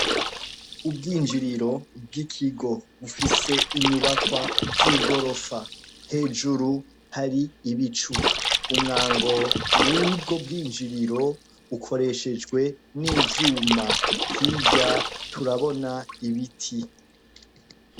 Ubwinjiriro bw'ikigo bufise inyubakwa z'igorofa. Hejuru hari ibicu. Umwango w'ubwo bwinjiriro ukoreshejwe n'ivyuma. Hirya turabona ibiti.